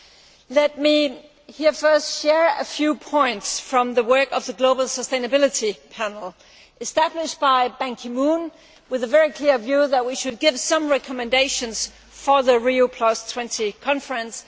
Firstly, let me share a few points from the work of the Global Sustainability Panel, established by Ban Ki Moon with the very clear view that we should give some recommendations for the Rio20 Conference.